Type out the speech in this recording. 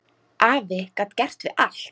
Afi gat gert við allt.